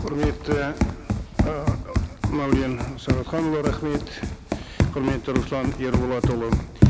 құрметті ыыы мәулен сағатханұлы рахмет құрметті руслан ерболатұлы